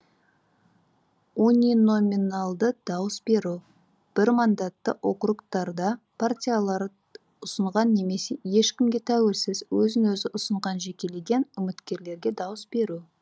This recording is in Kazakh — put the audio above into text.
униноминалды дауыс беру бірмандатты округтарда партиялар ұсынған немесе ешкімге тәуелсіз өзін өзі ұсынған жекелеген үміткерлерге дауыс беру